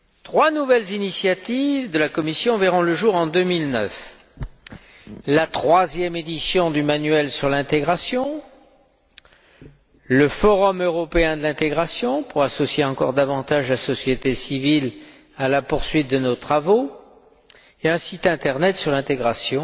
Trois nouvelles initiatives de la Commission verront le jour en 2009 la troisième édition du manuel sur l'intégration, le forum européen de l'intégration, pour associer encore davantage la société civile à la poursuite de nos travaux, et un site internet sur l'intégration,